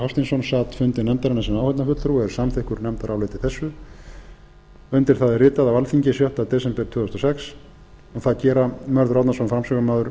hafsteinsson sat fundi nefndarinnar sem áheyrnarfulltrúi og er samþykkur nefndaráliti þessu undir það er ritað á alþingi sjötta desember tvö þúsund og sex og það gera mörður árnason áfram